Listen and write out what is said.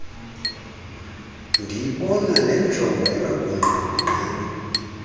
ndiyibona nenjongo engagungqagungqiyo